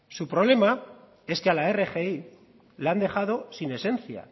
su problema es que a la rgi la han dejado sin esencia